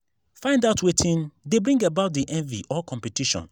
find out wetin de bring about di envy or competition